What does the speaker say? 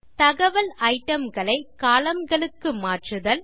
தகவல் itemகளை columnகளுக்கு மாற்றுதல் 5